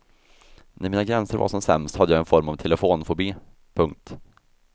När mina gränser var som sämst hade jag en form av telefonfobi. punkt